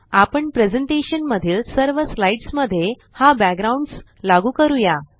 आपण प्रेज़ेंटेशन मधील सर्व स्लाइड्स मध्ये हा बॅकग्राउंड्स लागू करूया